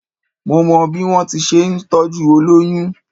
Mo mọ bí wọ́n ti ń ṣe ìtọ́jú olóyún